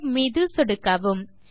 save மீது சொடுக்கவும்